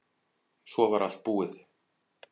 Svo var allt búið.